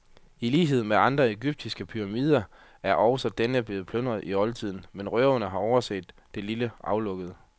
I lighed med andre egyptiske pyramider er også denne blevet plyndret i oldtiden, men røverne har overset det lille aflukke.